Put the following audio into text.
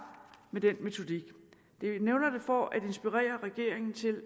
med den metodik jeg nævner det for at inspirere regeringen til